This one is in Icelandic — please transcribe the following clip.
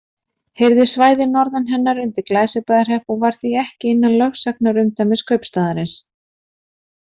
Heyrði svæðið norðan hennar undir Glæsibæjarhrepp og var því ekki innan lögsagnarumdæmis kaupstaðarins.